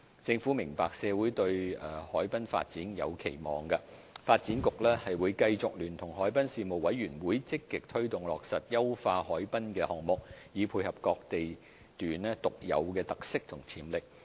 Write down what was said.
政府明白社會對海濱發展有期望，發展局會繼續聯同海濱事務委員會積極推動落實優化海濱的項目，以配合各地段獨有的特色和潛力。